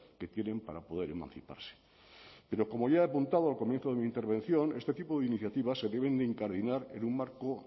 que tienen para poder emanciparse pero como ya he apuntado al comienzo de mi intervención este tipo de iniciativas se deben de incardinar en un marco